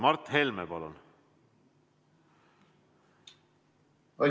Mart Helme, palun!